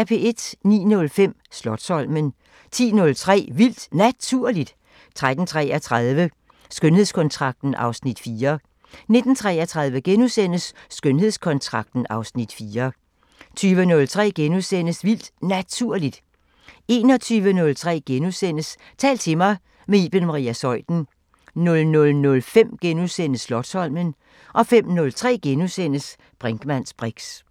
09:05: Slotsholmen 10:03: Vildt Naturligt 13:33: Skønhedskontrakten (Afs. 4) 19:33: Skønhedskontrakten (Afs. 4)* 20:03: Vildt Naturligt * 21:03: Tal til mig – med Iben Maria Zeuthen * 00:05: Slotsholmen * 05:03: Brinkmanns briks *